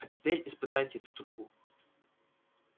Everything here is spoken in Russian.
а теперь испытайте эту трубу